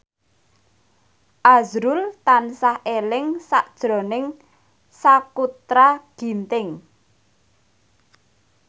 azrul tansah eling sakjroning Sakutra Ginting